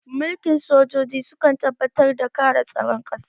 Mulkin sojoji sukan tabbatar da kare tsaron ƙasa